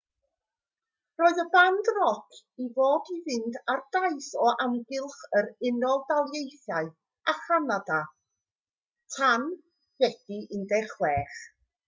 roedd y band roc i fod i fynd ar daith o amgylch yr unol daleithiau a chanada tan fedi 16